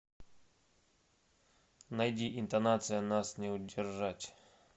найди интонация нас не удержать